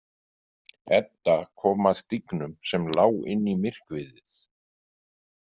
Edda kom að stígnum sem lá inn í myrkviðið.